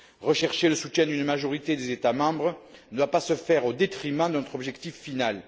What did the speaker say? Rechercher le soutien d'une majorité des États membres ne doit pas se faire au détriment de notre objectif final.